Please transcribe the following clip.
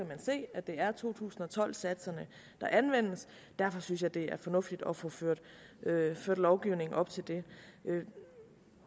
man se at det er to tusind og tolv satserne der anvendes og derfor synes jeg det er fornuftigt at få ført lovgivningen op til det niveau